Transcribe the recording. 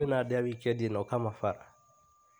Kwĩna ndĩa wikendi ĩno Kamabara .